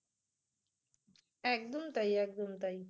একদম তাই একদম তাই